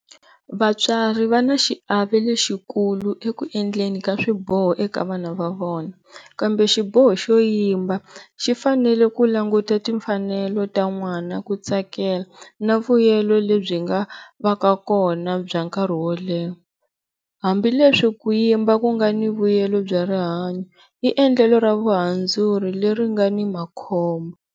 Vatswari va na xiave lexikulu eku endleni ka swiboho eka vana va vona, kambe xiboho xo yimba xi fanele ku languta timfanelo ta n'wana ku tsakela na vuyelo lebyi nga va ka kona bya nkarhi wo leha, hambileswi ku yimba ku nga ni vuyela bya rihanyo i endlelo ra vuhandzuri leri nga ni makhombo.